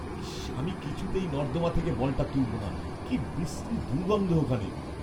ইস্‌! আমি কিছুতেই নর্দমা থেকে বলটা তুলবো না। কি বিশ্রী দুর্গন্ধ ওখানে।